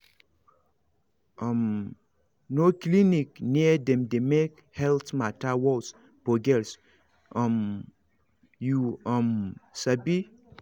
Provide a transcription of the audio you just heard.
um no clinic near dem dey make health matter worse for girls um you um sabi